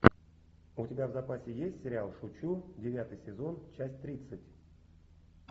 у тебя в запасе есть сериал шучу девятый сезон часть тридцать